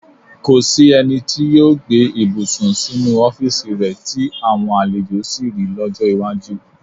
Kò sí ẹni tí yóò gbé ibùsùn sínú ọ́fíìsì rẹ tí àwọn àlejò sì ri lọ́jọ́ iwájú.